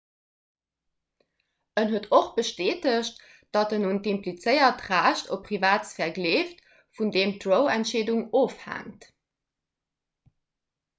en huet och bestätegt datt en un d'implizéiert recht op privatsphär gleeft vun deem d'roe-entscheedung ofhänkt